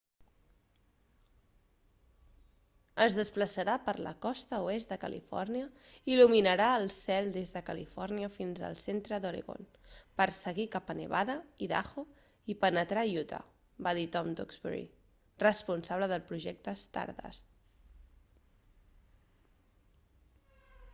es desplaçarà per la costa oest de califòrnia i il·luminarà el cel des de califòrnia fins al centre d'oregon per seguir cap a nevada i idaho i penetrar a utah va dir tom duxbury responsable del projecte stardust